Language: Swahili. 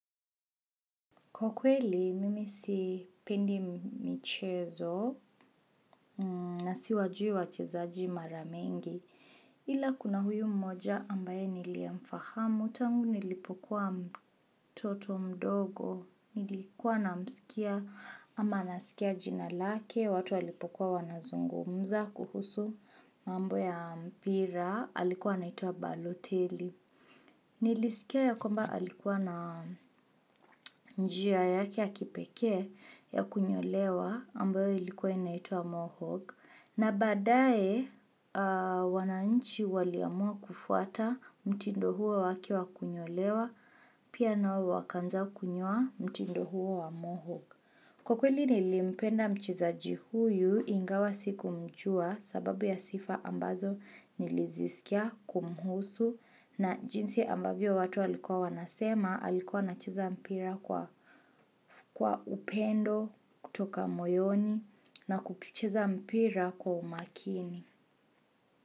Kwa kweli, mimi si pendi michezo na si wajui wa chezaji maramengi. Ila kuna huyu mmoja ambaye niliyemfahamu. Tangu nilipokuwa mtoto mdogo. Nilikuwa na msikia ama nasikia jinalake. Watu walipokuwa wanazungu. Mza kuhusu mambo ya mpira. Alikuwa anaitwa baloteli. Nilisikia ya kwamba alikuwa na njia yake ya kipekee. Ya kunyolewa ambayo ilikuwa inaitwa Mohawk na baadaye wananchi waliamua kufuata mtindo huo wake wa kunyolewa pia na wakaanza kunyoa mtindo huo wa Mohawk Kwa kweli nilimpenda mchezaji huyu ingawa sikumjua sababu ya sifa ambazo niliziskia kumhusu na jinsi ambavyo watu walikuwa wanasema alikuwa anacheza mpira kwa upendo kutoka moyoni na kupicheza mpira kwa umakini.